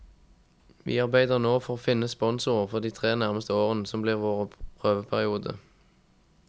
Vi arbeider nå for å finne sponsorer for de tre nærmeste årene, som blir vår prøveperiode.